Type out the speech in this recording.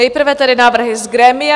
Nejprve tedy návrhy z grémia.